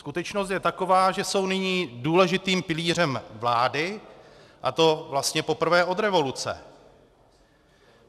Skutečnost je taková, že jsou nyní důležitým pilířem vlády, a to vlastně poprvé od revoluce.